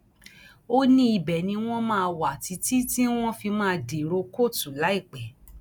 ó ní ibẹ ni wọn máa wà títí tí wọn fi máa dèrò kóòtù láìpẹ